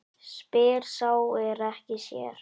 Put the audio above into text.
Spyr sá er ekki sér.